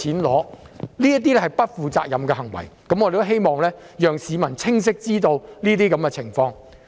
這是不負責任的行為，我們希望讓市民清晰知道這些情況。